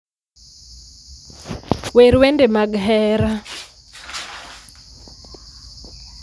wer wende mag hera